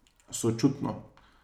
Sočutno.